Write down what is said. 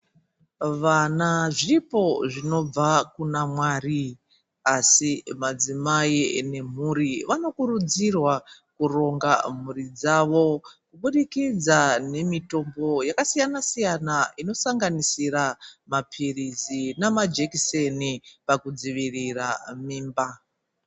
Vana zvipo zvinobva kunaMwari , asi madzimai nemhuri vanokurudzirwa kuronga mhuri dzavo kubudikidza nemitombo yakasiyana siyana inosanganisira mapirizi namajekiseni pakudzivirira mimba.